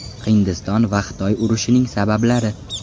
Hindiston va Xitoy urushining sabablari.